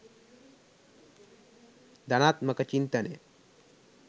ධනාත්මක චින්තනය